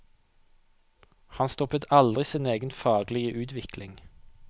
Han stoppet aldri sin egen faglige utvikling.